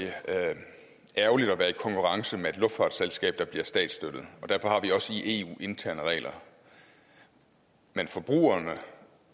ærgerligt at være i konkurrence med et luftfartsselskab der bliver statsstøttet og derfor har vi også i eu interne regler men forbrugerne